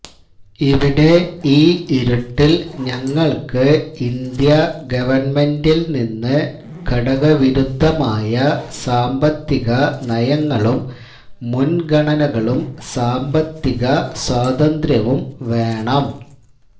ഇവിടെ ഈ ഇരുട്ടില് ഞങ്ങള്ക്ക് ഇന്ത്യാ ഗവണ്മെന്റില്നിന്ന് കടകവിരുദ്ധമായ സാമ്പത്തിക നയങ്ങളും മുന്ഗണനകളും സാമ്പത്തിക സ്വാതന്ത്ര്യവും വേണം